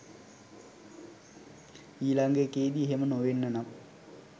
ඊළඟ එකේදි එහෙම නොවෙන්න නම්.